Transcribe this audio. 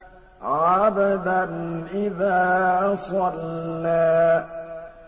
عَبْدًا إِذَا صَلَّىٰ